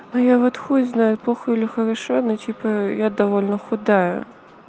ну я вот хуй знает плохо или хорошо но типа я довольна худая